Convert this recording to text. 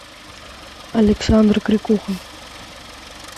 александр крикуха